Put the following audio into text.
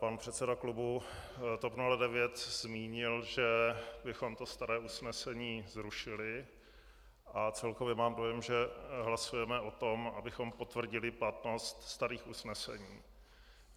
Pan předseda klubu TOP 09 zmínil, že bychom to staré usnesení zrušili, a celkově mám dojem, že hlasujeme o tom, abychom potvrdili platnost starých usnesení.